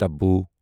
طبوع